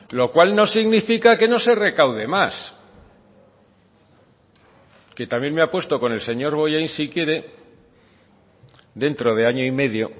lo cual no significa que no se recaude más que también me apuesto con el señor bollain si quiere dentro de año y medio